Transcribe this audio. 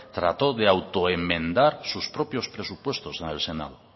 trató de auto enmendar sus propios presupuestos en el senado